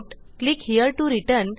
click here to return